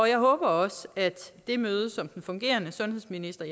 jeg håber også at det møde som den fungerende sundhedsminister